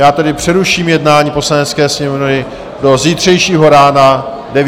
Já tedy přeruším jednání Poslanecké sněmovny do zítřejšího rána 9 hodin.